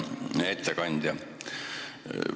Hea ettekandja!